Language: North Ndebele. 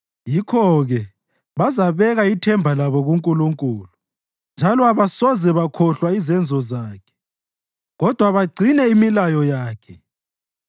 Yikho-ke bazabeka ithemba labo kuNkulunkulu njalo abasoze bakhohlwa izenzo zakhe kodwa bagcine imilayo yakhe.